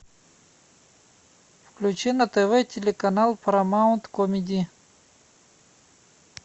включи на тв телеканал парамаунт комеди